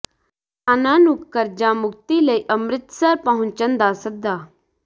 ਕਿਸਾਨਾਂ ਨੂੰ ਕਰਜ਼ਾ ਮੁਕਤੀ ਲਈ ਅੰਮ੍ਰਿਤਸਰ ਪਹੁੰਚਣ ਦਾ ਸੱਦਾ